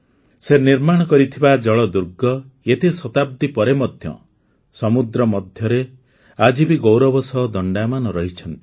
ସେ ନିର୍ମାଣ କରିଥିବା ଜଳଦୁର୍ଗ ଏତେ ଶତାବ୍ଦୀ ପରେ ମଧ୍ୟ ସମୁଦ୍ର ମଧ୍ୟରେ ଆଜି ବି ଗୌରବ ସହ ଦଣ୍ଡାୟମାନ ରହିଛନ୍ତି